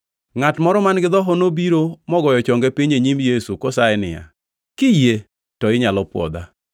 Ngʼat moro man-gi dhoho nobiro mogoyo chonge piny e nyim Yesu kosaye niya, “Kiyie to inyalo pwodha.”